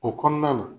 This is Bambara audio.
O kɔnɔna na